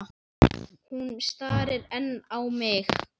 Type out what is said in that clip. Hún starir enn á mig.